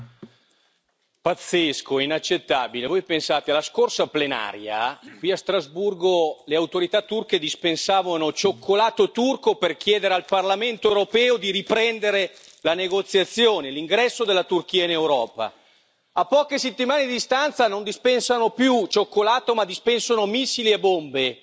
Signora Presidente, onorevoli colleghi, pazzesco, inaccettabile! Voi pensate, alla scorsa plenaria, qui a Strasburgo, le autorità turche dispensavano cioccolato turco per chiedere al Parlamento europeo di riprendere la negoziazione, l'ingresso della Turchia in Europa. A poche settimane di distanza non dispensano più cioccolato ma dispensano missili e bombe.